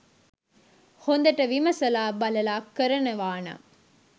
හොඳට විමසලා බලලා කරනවානම්